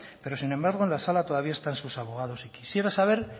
pero sin embargo en la sala todavía están sus abogados y quisiera saber